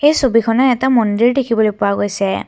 এই ছবিখনে এটা মন্দিৰ দেখিবলৈ পোৱা গৈছে।